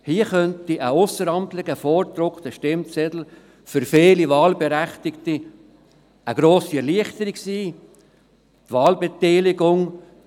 Hier könnte ein ausseramtlicher, vorgedruckter Stimmzettel für viele Wahlberechtigte grosse Erleichterung bringen.